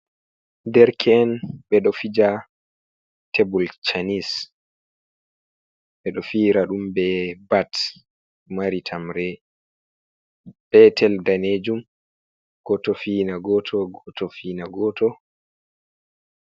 Derke’en ɓeɗo fija tebul chanes, ɓeɗo fira ɗum be bat mari tamre, petel danejum, goto fiyna goto, goto fiyna goto.